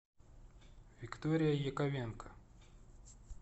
виктория яковенко